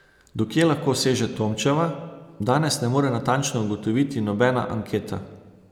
Do kje lahko seže Tomčeva, danes ne more natančno ugotoviti nobena anketa.